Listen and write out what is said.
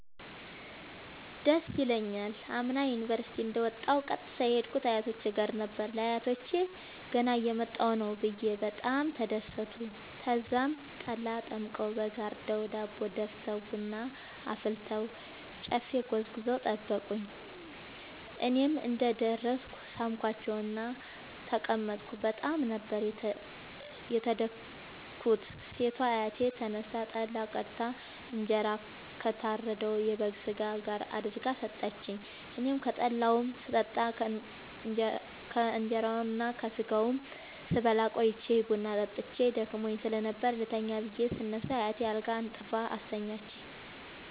ደስ ይለኛል። አምና ዩኒቨርሢቲ እንደ ወጣሁ ቀጥታ የሄድኩት አያቶቼ ጋር ነበር። ለአያቶቸ ገና እየመጣሁ ነዉ ብየ በጣም ተደሠቱ። ተዛም ጠላ ጠምቀዉ በግ አርደዉ ዳቦ ደፍተዉ ቡና አፍልተዉ ጨፌ ጎዝጉዘዉ ጠበቁኝ። እኔም እንደ ደረስኩ ሣምኳቸዉእና ተቀመጥኩ በጣም ነበር የተደትኩት ሴቷ አያቴ ተነስታ ጠላ ቀድታ እንጀራ ከታረደዉ የበግ ስጋ ጋር አድርጋ ሠጠችኝ። አኔም ከጠላዉም ስጠጣ ከእንራዉና ከስጋዉም ስበላ ቆይቼ ቡና ጠጥቼ ደክሞኝ ስለነበር ልተኛ ብየ ስነሳ አያቴ አልጋ አንጥፋ አስተኛችኝ።